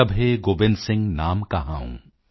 ਤਬੈ ਗੋਬਿੰਦ ਸਿੰਘ ਨਾਮ ਕਹਾਊਂ